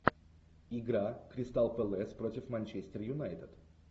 игра кристал пэлас против манчестер юнайтед